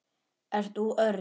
Ert þú Örn?